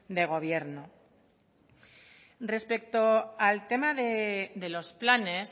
de gobierno respecto al tema de los planes